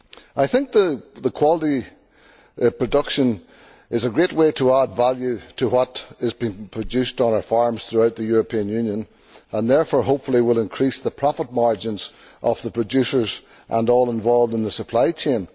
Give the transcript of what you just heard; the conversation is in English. I think that quality production is a great way to add value to what is being produced on our farms throughout the European Union and therefore will, hopefully, increase the profit margins of the producers and all involved in the supply chain.